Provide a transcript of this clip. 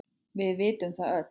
Við vitum það öll.